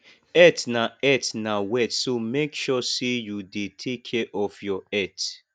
health na health na wealth so mek sure say yu dey take care of your health